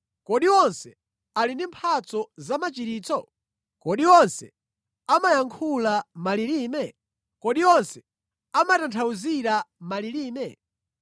Kodi onse ali ndi mphatso zamachiritso? Kodi onse amayankhula malilime? Kodi onse amatanthauzira malilime?